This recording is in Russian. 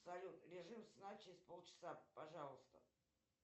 салют режим сна через полчаса пожалуйста